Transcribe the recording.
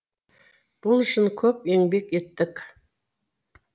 бұл үшін көп еңбек еттік